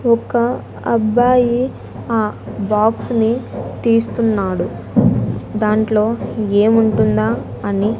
ఒక అబ్బాయి ఆ బాక్స్ ని తీస్తున్నాడు దాంట్లో ఏముంటుందా అని.